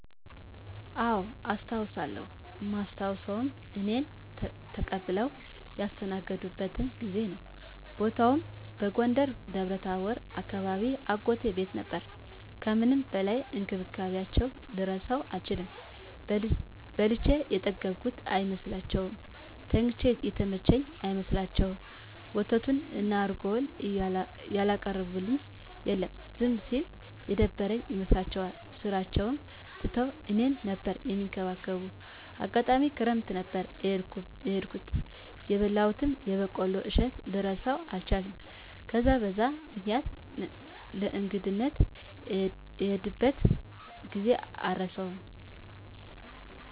አዎ አስታዉሳለው እማስታዉሰዉም እኔን ተቀብለዉ ያስተናገዱበትን ጊዜ ነዉ። ቦታዉም በጎንደር ደብረታቦር አካባቢ አጎቴ ቤት ነበር ከምንም በላይ እንክብካቤያቸዉን ልረሳዉ አልችልም። በልቼ የጠገብኩ አይመስላቸዉም፣ ተኝቼ የተመቸኝ አይመስላቸዉም፣ ወተቱን እና እረጎዉን ያላቀረቡልኝ የለም። ዝም ስል የደበረኝ ይመስላቸዋል ስራቸዉን ትተዉ እኔን ነበር እሚንከባከቡት፣ አጋጣሚ ክረምት ነበር የሄድኩት የበላሁትን የበቆሎ እሸት ልረሳዉ አልችልም። በዛን በዛን ምክኒያት ለእንግድነት የሄድኩበትን ጊዜ አረሳዉም።